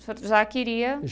O senhor já queria?